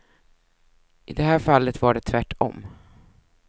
I det här fallet var det tvärt om.